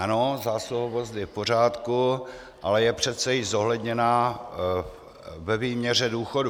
Ano, zásluhovost je v pořádku, ale je přece již zohledněna ve výměře důchodu.